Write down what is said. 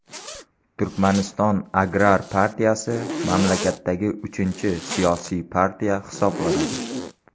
Turkmaniston Agrar partiyasi mamlakatdagi uchinchi siyosiy partiya hisoblanadi.